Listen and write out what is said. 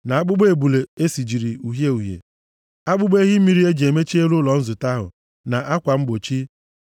na akpụkpọ ebule e sijiri uhie uhie, akpụkpọ ehi mmiri e ji emechi elu ụlọ nzute ahụ, na akwa mgbochi,